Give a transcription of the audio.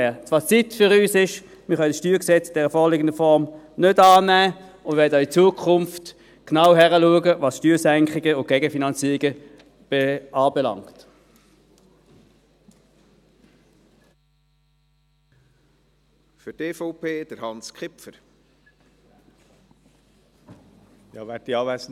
Das Fazit für uns: Wir können das StG in der vorliegenden Form nicht annehmen und werden, was Steuersenkungen und Gegenfinanzierungen anbelangt, auch in Zukunft genau hinsehen.